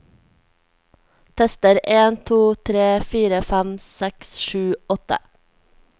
Tester en to tre fire fem seks sju åtte